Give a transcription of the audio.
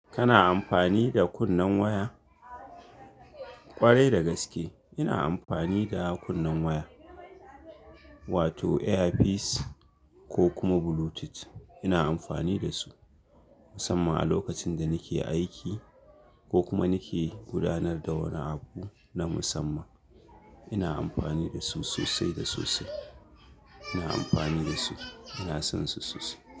Kana amfani da kunnen waya? Kwarai da gaske ina amfani da kunnen waya, wato earpiece ko kuma Bluetooth ina amfani da su, musamman a lokacin da nake aiki ko kuma nake gudanar da wani abu na musamman. Ina amfani da su sosai da sosai. Ina amfani da su, ina son su sosai.